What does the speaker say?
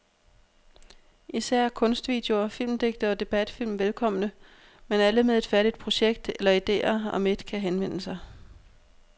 Især er kunstvideoer, filmdigte og debatfilm velkomne, men alle med et færdigt projekt eller idéer om et kan henvende sig.